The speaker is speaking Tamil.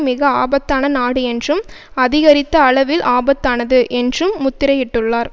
மிக ஆபத்தான நாடு என்றும் அதிகரித்த அளவில் ஆபத்தானது என்றும் முத்திரையிட்டுள்ளார்